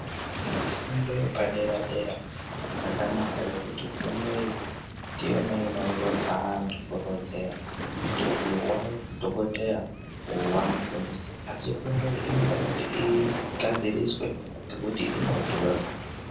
fundo yepadera dera yakanaka nekuti fundo iyi ndiyona inorodza antu kurodzera kuti uyu wadhokotera uyu wamufundisi asi fundo iyi inoda kuti igadziriswe nekuti inodhura .